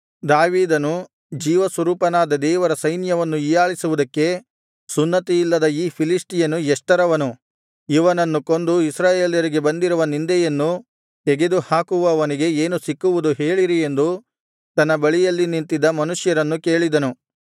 ದಾವೀದನು ಜೀವಸ್ವರೂಪನಾದ ದೇವರ ಸೈನ್ಯವನ್ನು ಹೀಯಾಳಿಸುವುದಕ್ಕೆ ಸುನ್ನತಿಯಿಲ್ಲದ ಈ ಫಿಲಿಷ್ಟಿಯನು ಎಷ್ಟರವನು ಇವನನ್ನು ಕೊಂದು ಇಸ್ರಾಯೇಲ್ಯರಿಗೆ ಬಂದಿರುವ ನಿಂದೆಯನ್ನು ತೆಗೆದುಹಾಕುವವನಿಗೆ ಏನು ಸಿಕ್ಕುವುದು ಹೇಳಿರಿ ಎಂದು ತನ್ನ ಬಳಿಯಲ್ಲಿ ನಿಂತಿದ್ದ ಮನುಷ್ಯರನ್ನು ಕೇಳಿದನು